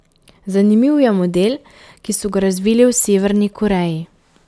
Zanimiv je model, ki so ga razvili v Severni Koreji...